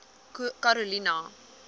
karolina